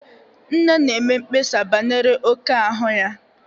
Nne na-eme mkpesa banyere oke ahu ya.